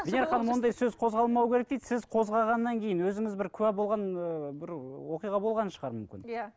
венера ханым ондай сөз қозғалмау керек дейді сіз қозғағаннан кейін өзіңіз бір куә болған ыыы бір оқиға болған шығар мүмкін иә